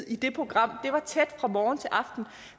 i det program det var tæt fra morgen til aften